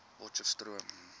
potcheftsroom